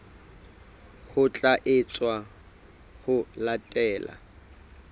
ho tla etswa ho latela